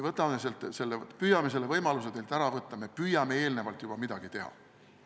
Me püüame selle võimaluse teilt ära võtta, me püüame juba eelnevalt midagi teha.